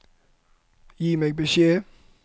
Gi meg beskjed